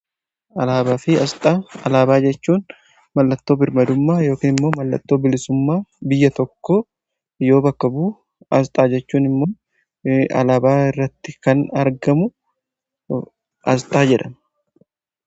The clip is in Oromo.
Alaabaa fi asxaa, alaabaa jechuun mallattoo birmadummaa yookiin immoo mallattoo bilisummaa biyya tokko yoo bakka bu'a. Asxaa jechuun immoo alaabaa irratti kan argamu asxaa jedhama.